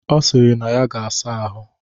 Ọ sịrị na ya ga-asa ahụ.